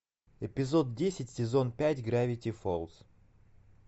эпизод десять сезон пять гравити фолз